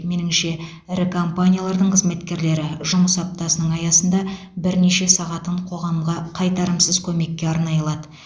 меніңше ірі компаниялардың қызметкерлері жұмыс аптасының аясында бірнеше сағатын қоғамға қайтарымсыз көмекке арнай алады